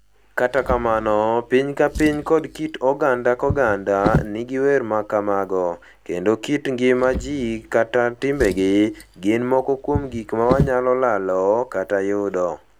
Kata kamano, piny ka piny koda kit oganda ka oganda nigi wer ma kamago, kendo kit ngima ji koda timbegi, gin moko kuom gik ma wanyalo lalo - kata yudo.